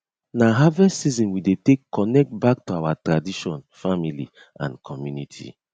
na harvest season we dey take connect back to our tradition family and community